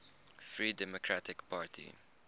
free democratic party